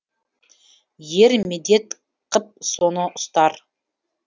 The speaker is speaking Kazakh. ер медет қып соны ұстар